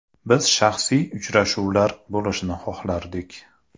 Biz shaxsiy uchrashuvlar bo‘lishini xohlardik.